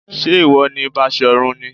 Ṣé ìwọ ni Basọ̀run ni?